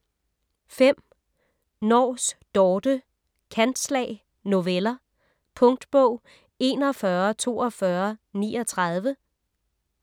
Nors, Dorthe: Kantslag: noveller Punktbog 414239